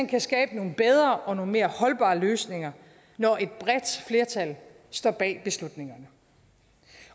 kan skabe nogle bedre og mere holdbare løsninger når et bredt flertal står bag beslutningerne